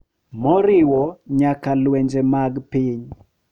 Moriwo nyaka lwenje mag piny